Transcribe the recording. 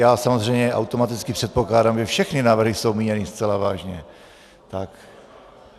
Já samozřejmě automaticky předpokládám, že všechny návrhy jsou míněny zcela vážně.